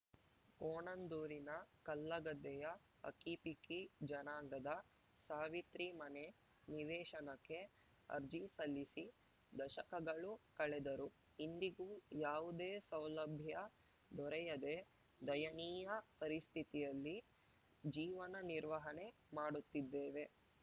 ಕೋಣಂದೂರಿನ ಕಲ್ಲಗದ್ದೆಯ ಹಕ್ಕಿಪಿಕ್ಕಿ ಜನಾಂಗದ ಸಾವಿತ್ರಿ ಮನೆ ನಿವೇಶನಕ್ಕೆ ಅರ್ಜಿ ಸಲ್ಲಿಸಿ ದಶಕಗಳು ಕಳೆದರೂ ಇಂದಿಗೂ ಯಾವುದೇ ಸೌಲಭ್ಯ ದೊರೆಯದೇ ದಯನೀಯ ಪರಿಸ್ಥಿತಿಯಲ್ಲಿ ಜೀವನ ನಿರ್ವಹಣೆ ಮಾಡುತ್ತಿದ್ದೇವೆ